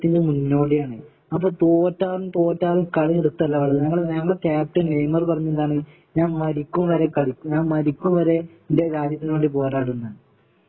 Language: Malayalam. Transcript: മുന്നോടിയാണ് അപ്പോ തോറ്റാലും തോറ്റാലും കളി നിർത്ത് അല്ല ഞമ്മടെ കാപ്റ്റൻ നേയമർ പറഞ്ഞത് എന്താണ് ഞാൻ മരിക്കും വരെ കളി ഞാൻ മരിക്കും വരെ ഇന്റെ രാജ്യത്തിന് വേണ്ടി പോരാടുമന്ന